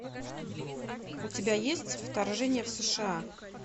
у тебя есть вторжение в сша